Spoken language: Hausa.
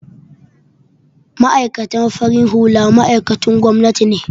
Ma'aikatan farin hula ma'aikatun gwamnati ne